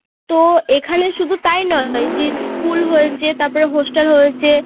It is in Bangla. তো এখানে শুধু তাই নয় যে school হয়েছে তারপর hostel হয়েছে